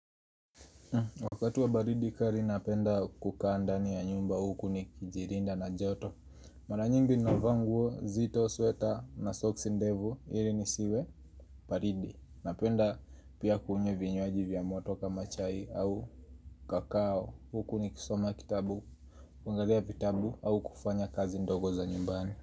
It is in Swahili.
Wakati wa baridi kali napenda kukaa ndani ya nyumba huku nikijirinda na joto Mara nyingi navaa nguo nzito, sweta, na socks ndevu, hiri nisiwe baridi, napenda pia kunywa vinywaji vya moto kama chai au kakao Huku nikisoma kitabu kuangalia vitabu au kufanya kazi ndogo za nyumbani.